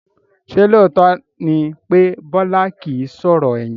Ṣé lóòótọ́ ni pé Bọlá kìí sọ̀rọ̀ ẹ̀yìn?